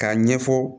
K'a ɲɛfɔ